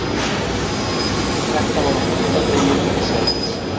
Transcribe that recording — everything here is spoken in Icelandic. Þetta var á fundardegi ríkisráðsins.